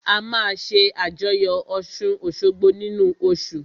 A máa ṣé àjọyọ̀ ọ̀ṣun-òṣogbo nínu oṣù